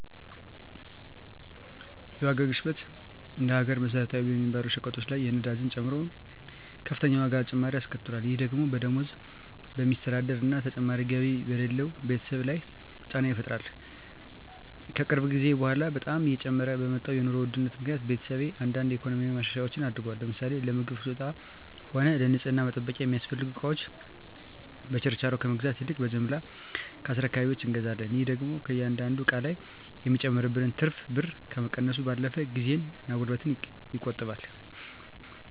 የዋጋ ግሽበት እንደ ሀገር መሰረታዊ በሚባሉ ሸቀጦች ላይ ነዳጅን ጨምሮ ከፍተኛ የዋጋ ጭማሪ አስከትሏል። ይህ ደግሞ በደሞዝ በሚስተዳደር እና ተጨማሪ ገቢ በሌለው ቤተሰብ ላይ ጫና ይፈጥራል። ከቅርብ ጊዜ በኃላ በጣም እየጨመረ በመጣው የኑሮ ውድነት ምክኒያት ቤተሰቤ አንዳንድ የኢኮኖሚ ማሻሻያዎች አድርጓል። ለምሳሌ ለምግብ ፍጆታም ሆነ ለንፅህና መጠበቂያ የሚያስፈልጉ እቃወችን በችርቻሮ ከመግዛት ይልቅ በጅምላ ከአስረካቢወች እንገዛለን። ይህ ደግሞ ከእያንዳንዱ እቃ ላይ የሚጨመርብንን ትርፍ ብር ከመቀነሱም ባለፈ ጊዜን እና ጉልበትን ይቆጥባል።